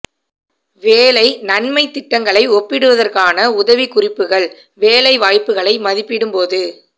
வேலை நன்மை திட்டங்களை ஒப்பிடுவதற்கான உதவிக்குறிப்புகள் வேலை வாய்ப்புகளை மதிப்பிடும் போது